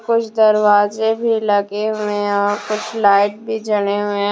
कुछ दरवाज़े भी लगे हुए हैं और कुछ लाइट भी जले हुए हैं।